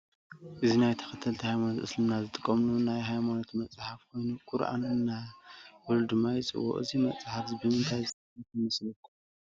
እዚ ናይ ተከተልቲ ሃይማኖት እስልምና ዝጥቀምሉ ናይ ሃይማኖቶም መፅሓፍ ኮይኑ ቁርአን እናበሉ ድማ ይፅውዕዎ እዚ መፅሓፍ ብምንታይ ዝፀሓፈ ይመስለኩም ?